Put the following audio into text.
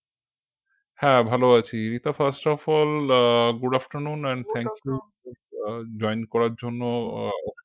হ্যাঁ ভালো আছি Rita first of all ah good afternoon and thank you ah join করার জন্য